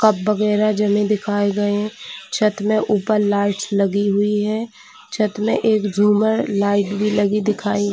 Cup वगेरा जाने दिखाई गई है। छत में ऊपर लाइट्स लगी हुई है छत में एक झूमर लाइट लगी दिखाई--